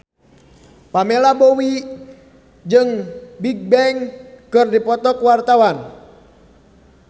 Pamela Bowie jeung Bigbang keur dipoto ku wartawan